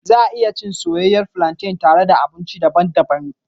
Za a iya cin soyayyen flantain tare da abinci daban-daban.